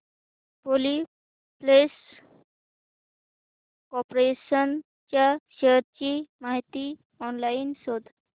Polyplex corporation च्या shares ची माहिती ऑनलाइन शोध